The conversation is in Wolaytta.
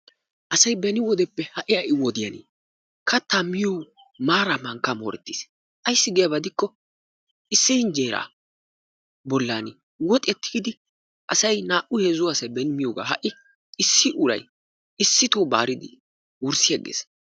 Asay beni wodiyappe ha"i ha"i wodiyan katta miyo maara mankka mooretiis. ayssi giyaba gidikko issi hinjjera bollani woxiya tigidi asay naa'u heezzu asay beni miyogaa. Ha"i issi wuray issito baaridi wurssiyagees.